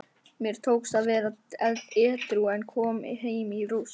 Mér tókst að vera edrú en kom heim í rúst.